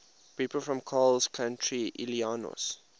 people from coles county illinois